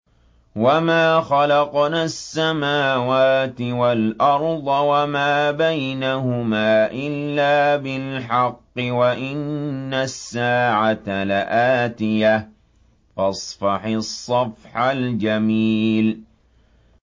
وَمَا خَلَقْنَا السَّمَاوَاتِ وَالْأَرْضَ وَمَا بَيْنَهُمَا إِلَّا بِالْحَقِّ ۗ وَإِنَّ السَّاعَةَ لَآتِيَةٌ ۖ فَاصْفَحِ الصَّفْحَ الْجَمِيلَ